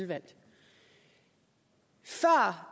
tak så